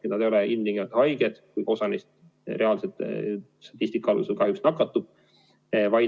Nad ei ole tingimata haiged, kuigi osa neist reaalselt, nagu statistika näitab, kahjuks nakatub.